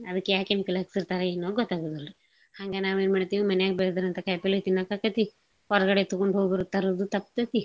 ಅದ್ಕ್ಯಾ chemical ಹಾಕಿರ್ತಾರ ಏನೋ ಗೊತ್ತಾಗೋದಿಲ್ರಿ. ಹಂಗ ನಾವೇನ್ ಮಾಡ್ತೀವಿ ಮನ್ಯಾಗ್ ಬೆಳ್ದಿರೋಂತಾ ಕಾಯ್ಪಲ್ಲೇ ತಿನ್ನಾಕಾಕತಿ ಹೊರ್ಗಡೆ ತಗೊಂಡೋಗೋರು ತರೋದು ತಪ್ತೇತಿ.